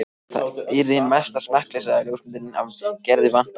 Það yrði hin mesta smekkleysa ef ljósmyndina af Gerði vantaði.